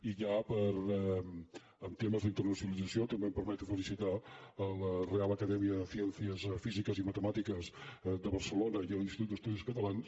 i ja en temes d’internacionalització també em permeto felicitar la real academia de ciencias físicas y matemáticas de barcelona i l’institut d’estudis catalans